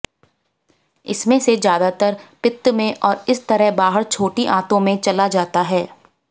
इसमें से ज्यादातर पित्त में और इस तरह बाहर छोटी आंतों में चला जाता है